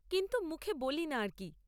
কিন্তু মুখে বলি না আর কী।